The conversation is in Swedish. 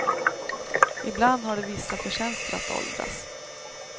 Ibland har det vissa förtjänster att åldras.